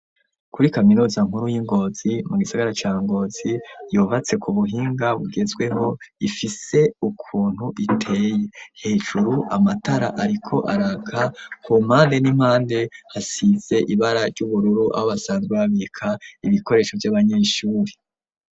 Kuri kaminuza nkuru y'ingozi mu gisagara ca Ngozi, yubatse ku buhinga bugezweho ifise ukuntu iteye hejuru amatara ariko araka ,ku mpande n'impande hasize ibara ry'ubururu aho basanzwe babika ibikoresho vy'abanyeshure.